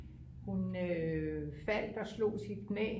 hun faldt og slog sit knæ